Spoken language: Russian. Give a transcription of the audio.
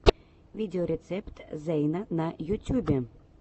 видеорецепт зэйна на ютюбе